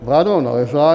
Vláda ho nalezla.